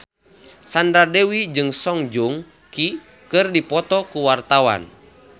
Sandra Dewi jeung Song Joong Ki keur dipoto ku wartawan